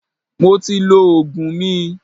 Mo ti lọ Ògùn mi.